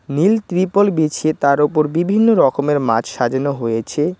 নীল ত্রিপল বিছিয়ে তার ওপর বিভিন্ন রকমের মাছ সাজানো হয়েছে।